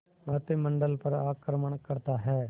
मंत्रिमंडल पर आक्रमण करता है